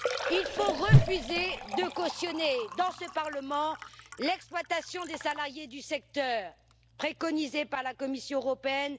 Il faut refuser de cautionner dans ce parlement l'exploitation des salariés du secteur, préconisée par la Commission européenne.